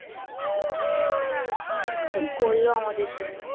হ্যাঁ কি করলো আমাদের জন্য